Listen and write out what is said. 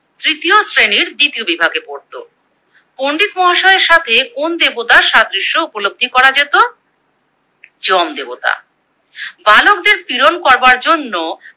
তৃতীয় শ্রেণীর দ্বিতীয় বিভাগে পড়তো। পন্ডিত মহাশয়ের সাথে কোন দেবতার সাদৃশ্য উপলব্ধি করা যেত? যম দেবতা। বালকদের পীড়ন করবার জন্য